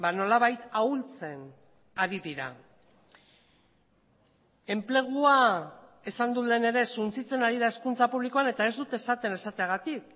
nolabait ahultzen ari dira enplegua esan dut lehen ere suntsitzen ari da hezkuntza publikoan eta ez dut esaten esateagatik